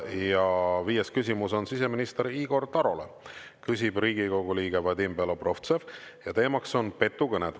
Ja viies küsimus on siseminister Igor Tarole, küsib Riigikogu liige Vadim Belobrovtsev ja teemaks on petukõned.